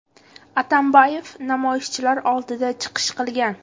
Atambayev namoyishchilar oldida chiqish qilgan.